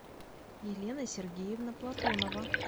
елена сергеевна платонова